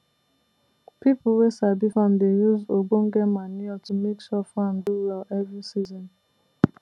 people wey sabi farm dey use ogbonge manure to make sure farm do well every season